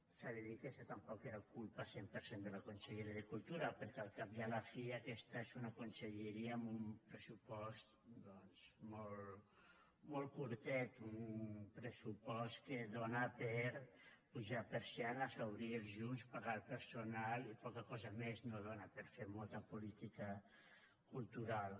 s’ha de dir que això tampoc no era culpa cent per cent de la conselleria de cultura perquè al cap i a la fi aquesta és una conselleria amb un pressupost doncs molt curtet un pressupost que dóna per apujar persianes obrir els llums pagar al personal i poca cosa més no dóna per fer molta política cultural